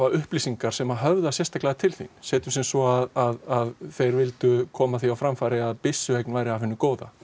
upplýsingar sem höfða sérstaklega til þín setjum sem svo að þeir vildu koma því á framfæri að byssueign væri af hinu góða